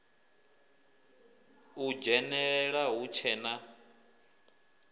u dzhenelela hu tshe na